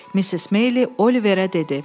Missis Meyli Oliverə dedi: